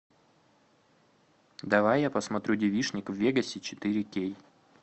давай я посмотрю девичник в вегасе четыре кей